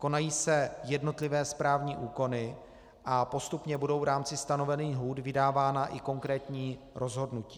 Konají se jednotlivé správní úkony a postupně budou v rámci stanovených lhůt vydávána i konkrétní rozhodnutí.